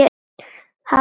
Hafa nóg fyrir stafni.